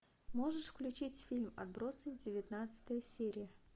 можешь включить фильм отбросы девятнадцатая серия